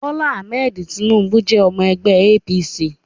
Bola Ahmed Tinubu jẹ́ ọmọ ẹgbẹ́ APC